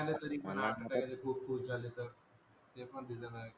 खूप खूप जाले तर ते पण रिझन आहे